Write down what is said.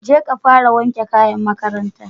Jeka fara wanke kayan makaranta